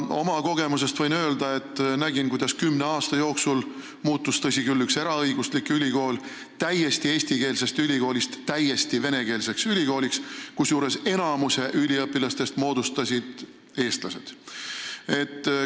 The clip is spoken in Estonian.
Oma kogemusest võin öelda, et nägin, kuidas üks ülikool – tõsi küll, eraõiguslik – muutus kümne aasta jooksul eestikeelsest ülikoolist täiesti venekeelseks ülikooliks, kusjuures enamiku üliõpilastest moodustasid eestlased.